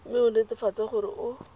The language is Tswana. mme o netefatse gore o